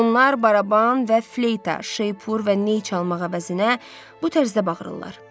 Onlar baraban və fleyta, şeypur və ney çalmaq əvəzinə bu tərzdə bağırırlar.